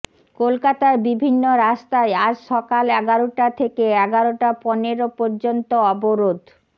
কলকাতার বিভিন্ন রাস্তায় আজ সকাল এগারোটা থেকে এগারোটা পনেরো পর্যন্ত অবরোধ